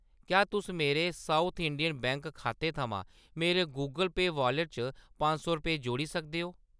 क्या तुस मेरे साउथ इंडियन बैंक खाते थमां मेरे गूगल पेऽ वालेट च पंज सौ रपेऽ जोड़ी सकदे ओ ?